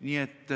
Nii et